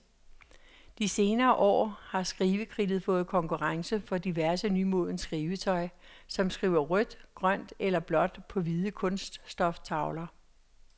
De senere år har skrivekridtet fået konkurrence fra diverse nymodens skrivetøj, som skriver rødt, grønt eller blåt på hvide kunststoftavler.